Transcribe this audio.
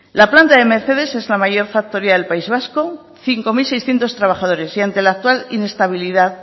la planta de mercedes es la mayor factoría del país vasco cinco mil seiscientos trabajadores y ante la actual inestabilidad